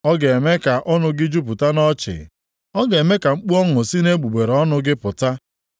Ọ ga-eme ka ọnụ gị jupụta nʼọchị. Ọ ga-eme ka mkpu ọṅụ si nʼegbugbere ọnụ gị pụta.